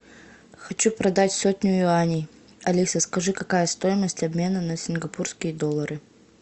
хочу продать сотню юаней алиса скажи какая стоимость обмена на сингапурские доллары